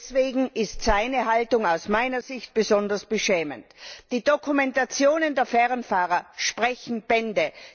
Deswegen ist seine Haltung aus meiner Sicht besonders beschämend. Die Dokumentationen der Fernfahrer sprechen Bände.